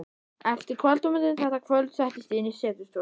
Eftir kvöldmatinn þetta kvöld settist ég inn í setustofuna.